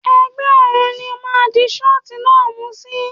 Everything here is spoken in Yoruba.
Ẹ̀gbẹ́ ọrùn ni ó máa di ṣọ́ọ̀tì náà mú sí.